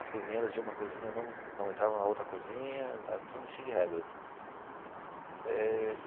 As cozinheiras de uma cozinha não não entravam na outra cozinha, era tudo cheio de regras eh.